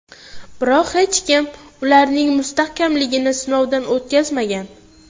Biroq hech kim ularning mustahkamligini sinovdan o‘tkazmagan.